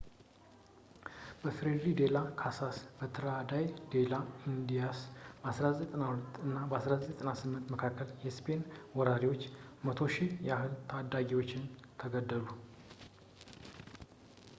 በፍሬይ ዴላ ካሳስ ትራታዶ ዴላ ኢንዲያስ በ1492 እና በ1498 መካከል የስፔን ወራሪዎች 100,000 ያህል ታኒዎች ተገደሉ